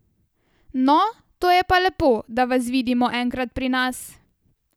No, to je pa lepo, da vas vidimo enkrat pri nas.